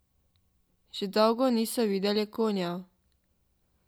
Že dolgo niso videli konjev.